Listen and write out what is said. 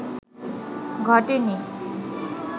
ঘটেনি